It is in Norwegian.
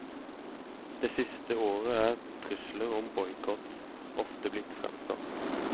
Det siste året er trusler om boikott ofte blitt fremsatt.